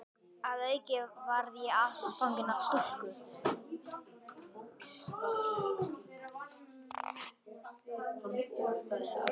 Að auki varð ég ástfanginn af stúlku.